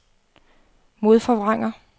modforvrænger